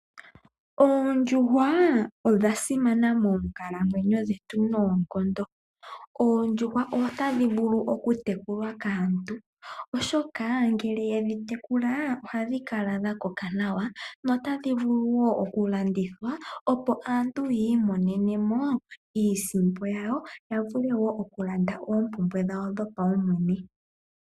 Oondjuhwa odha simana moonkalamweyo dhetu noonkondo. Oondjuhwa otadhi vulu okutekulwa kaantu oshoka ngele ye dhi tekula ohadhi kala dha koka nawa, notadhi vulu wo okulandithwa opo aantu ya imonenemo iisimpo yawo ya vule wo okulanda oompumbwe dhawo dhopaumwene.